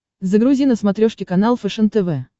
загрузи на смотрешке канал фэшен тв